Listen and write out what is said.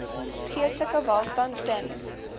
geestelike welstand ten